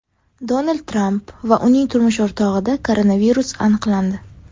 Donald Tramp va uning turmush o‘rtog‘ida koronavirus aniqlandi.